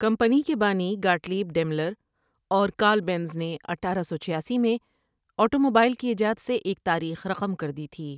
Company کے بانی Gottlieb Daimler اور کارل بینز نے اٹھارہ سو چھیاسی میں آٹو موبائل کی ایجاد سے ایک تاریخ رقم کر دی تھی ۔